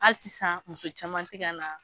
Hali sisan muso caman tɛka na.